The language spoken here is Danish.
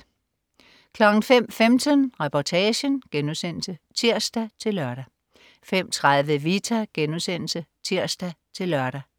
05.15 Reportagen* (tirs-lør) 05.30 Vita* (tirs-lør)